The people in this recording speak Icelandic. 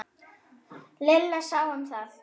Lilla sá um það.